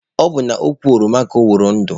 Ọ bụ n'ukwu ọroma ka ọ kwụrụ ụdọ.